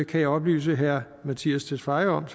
kan jeg oplyse herre mattias tesfaye om